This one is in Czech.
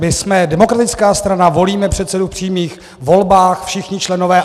My jsme demokratická strana, volíme předsedu v přímých volbách, všichni členové.